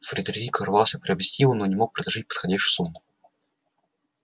фредерик рвался приобрести его но не мог предложить подходящую сумму